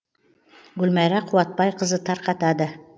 гүлмайра қуатбайқызы тарқытады